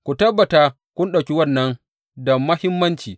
Ku tabbata ka ɗauki wannan da muhimmanci.